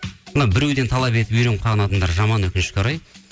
мына біреуден талап етіп үйреніп қалған адамдар жаман өкінішке орай